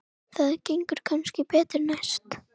Það gengur kannski betur næst.